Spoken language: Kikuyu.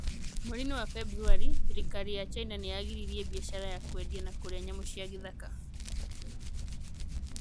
Mweri-inĩ wa Februarĩ, thirikari ya China nĩ yagiririe biacara ya kwendia na kũrĩa nyamũ cia gĩthaka.